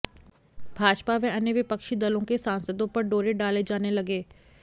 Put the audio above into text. भाजपा व अन्य विपक्षी दलों के सांसदों पर डोरे डाले जाने लगे